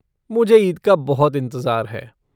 मुझे ईद का बहुत इंतज़ार है।